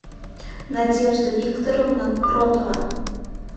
надежда викторовна кротова